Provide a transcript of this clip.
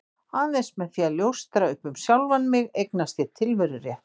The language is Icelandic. Aðeins með því að ljóstra upp um sjálfan mig eignast ég tilverurétt.